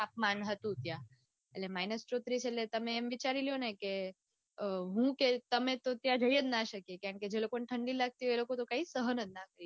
તાપમાન હતું ત્યાં. એટલે minus ચોત્રીસ એટલે તમે એમ વિચારીલો ને કે હું ને તમે તો ત્યાં જઈ જ ના શકીયે કારણકે જે લોકોને ઠંડી લાગતો હોય એ લોકોતો કાંઈ સહન જ ના કરી શકીયે